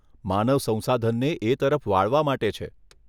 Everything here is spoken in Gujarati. માનવ સંસાધનને એ તરફ વાળવા માટે છે.